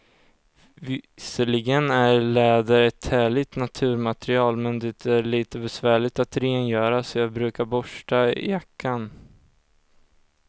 Visserligen är läder ett härligt naturmaterial, men det är lite besvärligt att rengöra, så jag brukar borsta jackan.